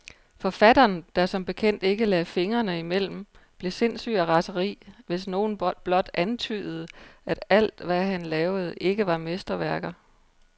Forfatteren, der som bekendt ikke lagde fingrene imellem, blev sindssyg af raseri, hvis nogen blot antydede, at alt, hvad han lavede, ikke var mesterværker.